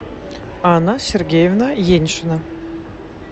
анна сергеевна еньшина